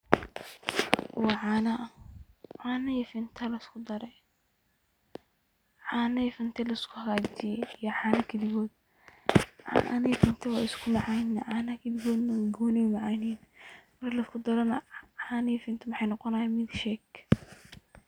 Wa caano, caano iyo finta laiskudare oo laiskuhagajiye iyo caano kaligod. Caanaha iyo finto wey iskumacanyihin caanaha kaligodna wa macan, marki laiskudarana caano iyo finto wexey noqonayan milkshake.